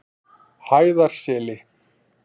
Hæðarseli